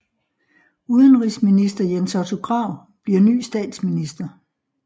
Udenrigsminister Jens Otto Krag bliver ny statsminister